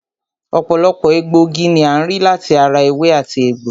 Ọ̀pọ̀lọpọ̀ egbòogi ni a rí láti ara ewé àti egbò